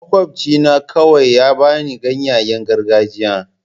Makwabcina kawai ya ba ni ganyayen gargajiya.